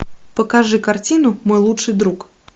покажи картину мой лучший друг